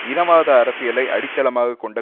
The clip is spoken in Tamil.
இனவாத அரசியலை அடித்தளமாக கொண்ட